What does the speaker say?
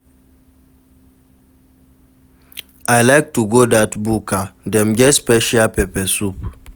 I like to go dat buka, dem get special pepper soup.